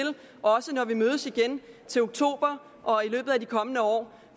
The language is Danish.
også når vi mødes igen til oktober og i løbet af de kommende år